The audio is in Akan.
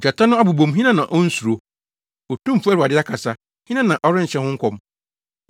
Gyata no abobɔ mu, hena na onnsuro? Otumfo Awurade akasa, hena na ɔrenhyɛ ho nkɔm?